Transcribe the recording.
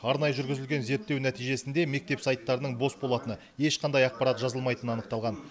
арнайы жүргізілген зерттеу нәтижесінде мектеп сайттарының бос болатыны ешқандай ақпарат жазылмайтыны анықталған